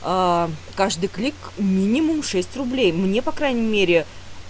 каждый клик минимум шесть рублей мне по крайней мере